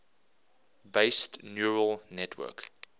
based neural network